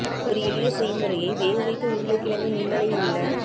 ஒரு எளிய செய்முறையை வேகவைத்த உருளைக்கிழங்கு நுண்ணலை உள்ள